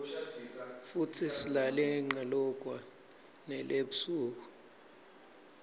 futsi silale nqalokwa nele ebusuk